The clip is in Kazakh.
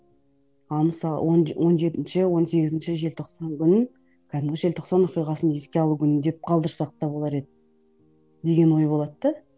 ал мысалы он он жетінші он сегізінші желтоқсан күнін кәдімгі желтоқсан оқиғасын еске алу күні деп қалдырсақ та болар еді деген ой болады да